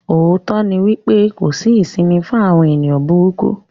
Òótọ́ ni pé kò sí isìmì fún àwọn èèyàn búrúkú.